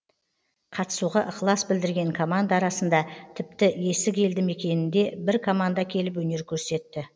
қатысуға ықылас білдірген команда арасында тіпті есік елді мекеніненде бір команда келіп өнер көрсетті